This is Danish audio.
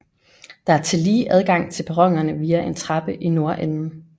Der er tillige adgang til perronerne via en trappe i nordenden